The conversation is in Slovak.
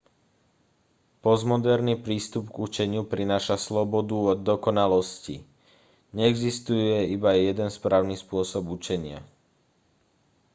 postmoderný prístup k učeniu prináša slobodu od dokonalosti neexistuje iba jeden správny spôsob učenia